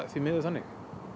því miður þannig